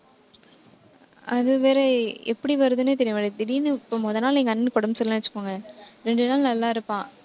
அதுவேற எப்படி வருதுன்னே தெரிய மாட்டேங்குது. திடீர்ன்னு இப்ப முதல் நாள் எங்க அண்ணனுக்கு உடம்பு சரியில்லைன்னு வச்சுக்கோங்க. ரெண்டு நாள் நல்லா இருப்பான்